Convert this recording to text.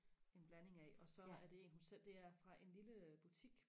en blanding af og så er det en hun selv det er fra en lille butik